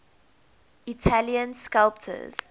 italian sculptors